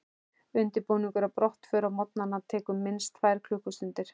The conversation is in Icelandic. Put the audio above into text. Undirbúningur að brottför á morgnana tekur minnst tvær klukkustundir.